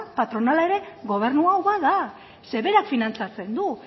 patronala ere gobernu hau bada zeren berak finantzatzen du